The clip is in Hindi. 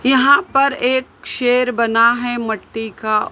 यहां पर एक शेर बना है मट्टी का।